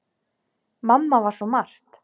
Mamma var svo margt.